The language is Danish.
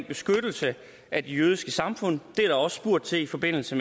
beskyttelse af det jødiske samfund det er der også spurgt til i forbindelse